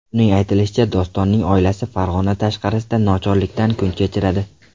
Uning aytishicha, Dostonning oilasi Farg‘ona tashqarisida nochorlikda kun kechiradi.